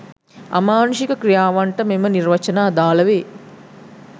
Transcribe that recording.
අමානුෂික ක්‍රියාවන්ට මෙම නිර්වචන අදාළ වේ